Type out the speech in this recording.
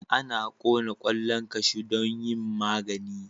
Ana kona kwallon kashu domin yin magani.